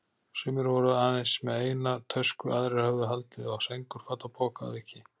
Sumir voru aðeins með eina tösku, aðrir höfðu haldið á sængurfatapoka að auki.